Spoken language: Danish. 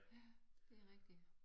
Ja det rigtigt